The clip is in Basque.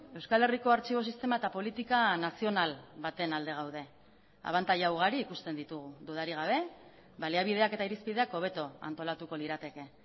euskal herriko artxibo sistema eta politika nazional baten alde gaude abantaila ugari ikusten ditugu dudarik gabe baliabideak eta irizpideak hobeto antolatuko lirateke